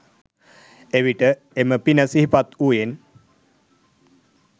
එවිට එම පින සිහිපත් වූයෙන්